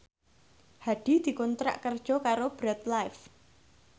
Hadi dikontrak kerja karo Bread Life